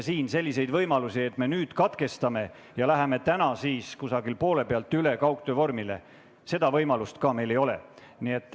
Siin sellist võimalust, et me katkestame ja läheme poole pealt üle kaugtööle, meil ei ole.